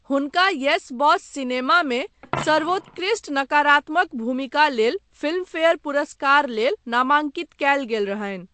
हुनका 'Yes Boss' सिनेमा मे सर्वोत्कृस्ट नकारात्मक भूमिका लेल फिल्मफेयर पुरस्कार लेल नामांकित कयल गेल रहनि ।